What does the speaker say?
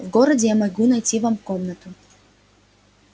в городе я могу найти вам комнату